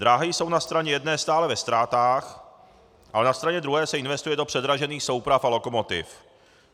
Dráhy jsou na straně jedné stále ve ztrátách, ale na straně druhé se investuje do předražených souprav a lokomotiv.